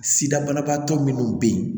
Sida banabaatɔ minnu bɛ yen